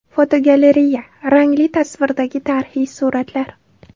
Fotogalereya: Rangli tasvirdagi tarixiy suratlar.